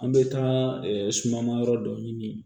An bɛ taa suma ma yɔrɔ dɔ ɲini